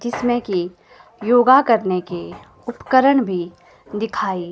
जिसमें की योगा करने के उपकरण भी दिखाई --